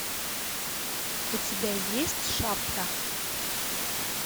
у тебя есть шапка